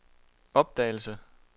opdagede